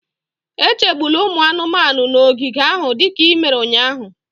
Echegbula ụmụ anụmanụ nọ n'ogige ahụ dịka i mere ụnyahụ